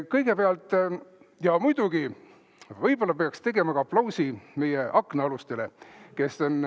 Kõigepealt muidugi võib-olla peaks tegema aplausi meie aknaalustele.